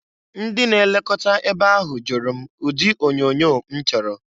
Ndị na-elokọta ebe ahụ jụrụ m ụdị onyoonyo m chọrọ.